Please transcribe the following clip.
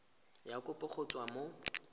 ya kopo go tswa mo